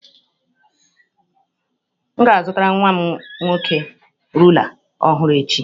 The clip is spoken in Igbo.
M ga-azụtara nwa m nwoke rula ọhụrụ echi.